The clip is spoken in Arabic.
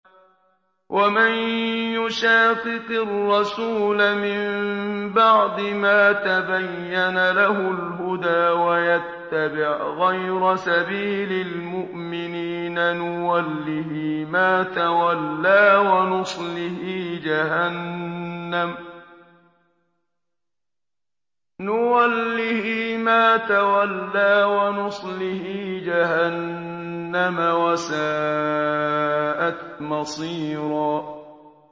وَمَن يُشَاقِقِ الرَّسُولَ مِن بَعْدِ مَا تَبَيَّنَ لَهُ الْهُدَىٰ وَيَتَّبِعْ غَيْرَ سَبِيلِ الْمُؤْمِنِينَ نُوَلِّهِ مَا تَوَلَّىٰ وَنُصْلِهِ جَهَنَّمَ ۖ وَسَاءَتْ مَصِيرًا